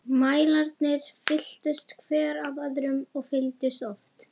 Mælarnir fylltust, hver af öðrum- og fylltust oft.